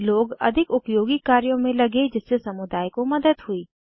लोग अधिक उपयोगी कार्यों में लगे जिससे समुदाय को मदद हुई